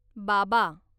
बाबा